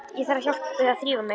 Ég þarf hjálp við að þrífa mig.